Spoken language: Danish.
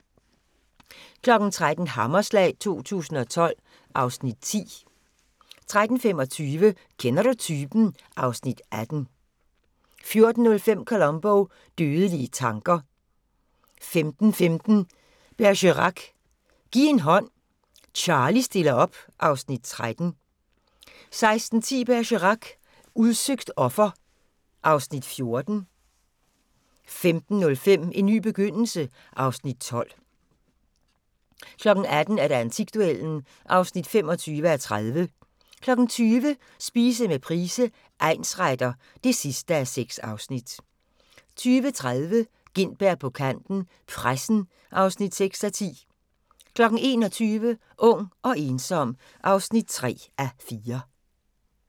13:00: Hammerslag 2012 (Afs. 10) 13:25: Kender du typen? (Afs. 18) 14:05: Columbo: Dødelige tanker 15:15: Bergerac: Giv en hånd, Charlie stiller op (Afs. 13) 16:10: Bergerac: Udsøgt offer (Afs. 14) 17:05: En ny begyndelse (Afs. 12) 18:00: Antikduellen (25:30) 20:00: Spise med Price, egnsretter (6:6) 20:30: Gintberg på kanten - pressen (6:10) 21:00: Ung og ensom (3:4)